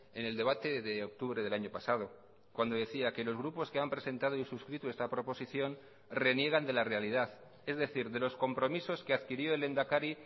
en el debate de octubre del año pasado cuando decía que los grupos que han presentado y suscrito esta proposición reniegan de la realidad es decir de los compromisos que adquirió el lehendakari